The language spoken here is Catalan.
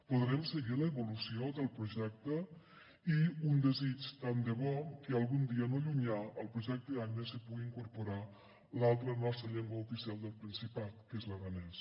podrem seguir l’evolució del projecte i un desig tant de bo que algun dia no llunyà al projecte aina s’hi pugui incorporar l’altra nostra llengua oficial del principat que és l’aranès